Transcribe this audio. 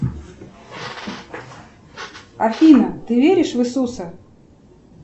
афина ты веришь в иисуса